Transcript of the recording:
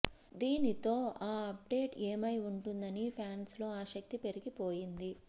దీనితో ఆ అప్డేట్ ఏమై ఉంటుందని ఫ్యాన్స్ లో ఆసక్తి పెరిగిపోయింది